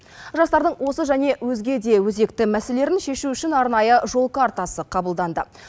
жастардың осы және өзге де өзекті мәселелерін шешу үшін арнайы жол картасы қабылданды